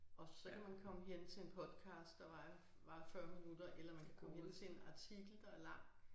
Og så kan man komme hen til en podcast der varer varer 40 minutter eller man kan komme hen til en artikel der lang